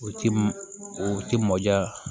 O ti mɔ o ti mɔ ja